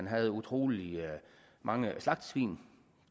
havde utrolig mange slagtesvin